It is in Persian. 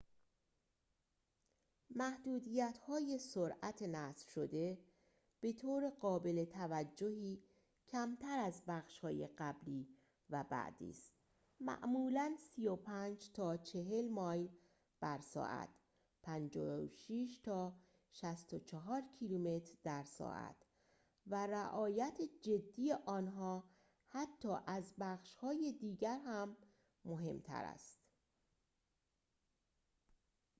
محدودیت‌های سرعت نصب‌شده بطور قابل توجهی کمتر از بخش‌های قبلی و بعدی است - معمولاً 35 تا 40 مایل بر ساعت 56 تا 64 کیلومتر در ساعت - و رعایت جدی آنها حتی از بخش‌های دیگر هم مهم‌تر است